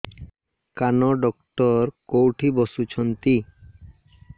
କାନ ଡକ୍ଟର କୋଉଠି ବସୁଛନ୍ତି